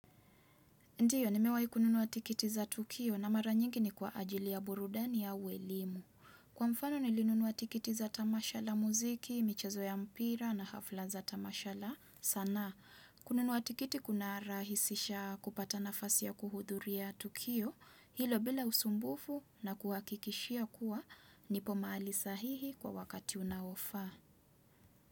Ndio, nimewahi kununua tikiti za Tukio na mara nyingi ni kwa ajili ya burudani ya au elimu. Kwa mfano nilinunua tikiti za tamasha la muziki, michezo ya mpira na hafla za tamasha la sana. Kununua tikiti kuna rahisisha kupata nafasi ya kuhudhuria Tukio hilo bila usumbufu na kuwahakikishia kuwa nipo mahali sahihi kwa wakati unaofaa.